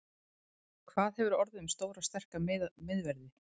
Hvað hefur orðið um stóra sterka miðverði?